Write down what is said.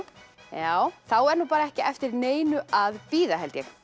já þá er ekki eftir neinu að bíða